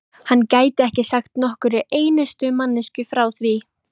hann gæti ekki sagt nokkurri einustu manneskju frá því.